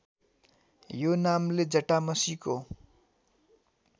यो नामले जटामसीको